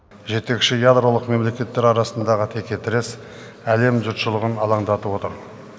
жетекші ядролық мемлекеттер арасындағы текетірес әлем жұртшылығын алаңдатып отыр